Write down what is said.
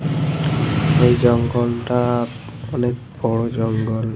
এই জঙ্গলটা অনেক বড় জঙ্গল ।